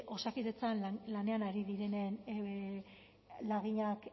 osakidetzan lanean ari direnen laginak